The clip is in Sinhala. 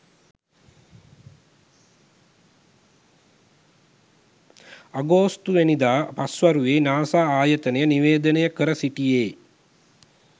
අගොස්තුවැනිදා පස්වරුවේ නාසා ආයතනය නිවේදනය කර සිටියේ